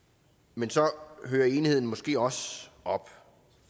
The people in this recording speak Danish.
men så hører enigheden måske også op